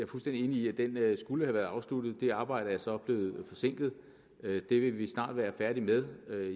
fuldstændig enig i at den skulle have været afsluttet det arbejde er så blevet forsinket det vil vi snart være færdige med